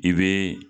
I bɛ